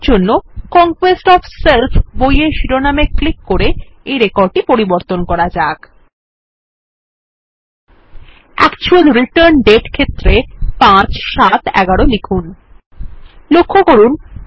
এর জন্য conquest of self বইয়ের শিরোনামে ক্লিক করে এই রেকর্ডটি পরিবর্তন করা যাক অ্যাকচুয়াল রিটার্ন দাতে ক্ষেত্রে ৫৭১১ লিখুন